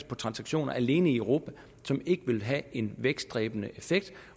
på transaktioner alene i europa som ikke vil have en vækstdræbende effekt